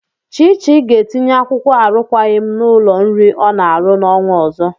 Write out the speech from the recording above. Chichi ga-etinye akwụkwọ arụkwaghị m n'ụlọ nri ọ na-arụ n'ọnwa ọzọ.